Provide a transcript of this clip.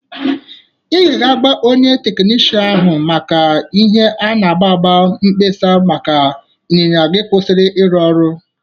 Ị ga-aga nye onye teknishan n'ahụ maka ihe a na-agba agba mkpesa maka ịnyịnya gị kwusiri ịrụ ọrụ.